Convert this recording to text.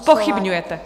Zpochybňujete.